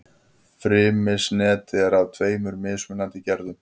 Frymisnet er af tveimur mismunandi gerðum.